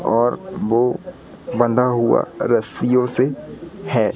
और वो बंधा हुआ रस्सियों से है।